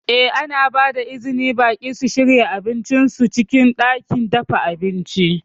Eh, ana ba da izinin baƙi su shirya abincin su a cikin ɗakin dafa abinci.